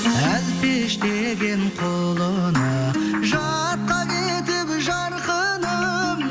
әлпештеген құлыны жатқа кетіп жарқыным